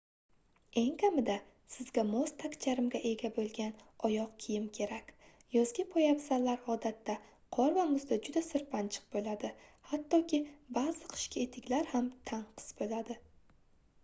eng kamida sizga mos tagcharmga ega boʻlgan oyoq kiyim kerak yozgi poyabzallar odatda qor va muzda juda sirpanchiq boʻladi hattoki baʼzi qishki etiklar ham tanqis boʻladi